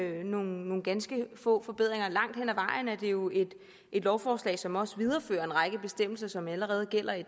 nogle ganske få forbedringer langt hen ad vejen er det jo et lovforslag som også viderefører en række bestemmelser som allerede gælder i